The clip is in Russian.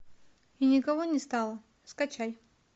и никого не стало скачай